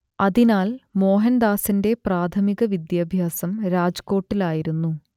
അതിനാൽ മോഹൻദാസിന്റെ പ്രാഥമിക വിദ്യാഭ്യാസം രാജ്കോട്ടിലായിരുന്നു